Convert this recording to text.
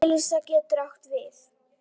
Elís getur átt við